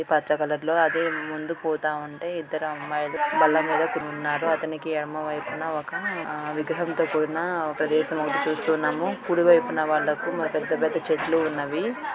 ఈ పచ్చ కలర్ లో అదె ముందు పోతాఉంటే ఇద్దరు అమ్మాయిలు బల్ల మీద కున్నారు అతనికి ఎడమవైపున ఒక విగ్రహంతో కూడిన ఒక చూస్తూ ఉన్నాము కుడివైపున వాళ్ళకు పెద్ద పెద్ద చెట్లు ఉన్నవి.